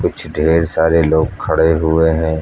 कुछ ढेर सारे लोग खड़े हुए हैं।